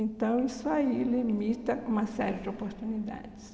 Então, isso aí limita uma série de oportunidades.